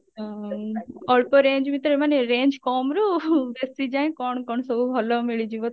ଅ ଅଳ୍ପ range ଭିତରେ ମାନେ range କମ ରୁ ବେଶୀ ଯାଏଁ କଣ କଣ ସବୁ ଭଲ ମିଳିଯିବ